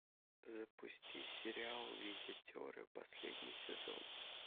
запусти сериал визитеры последний сезон